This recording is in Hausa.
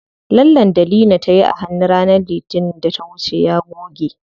Lallen da Leena tayi a hannu ranar litinin da ta wuce ya goge.